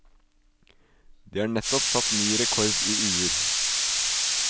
De har nettopp satt ny rekord i uer.